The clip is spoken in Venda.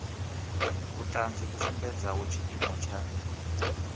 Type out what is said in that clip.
vhuṱanzi vhu sumbedzaho tshiimo tsha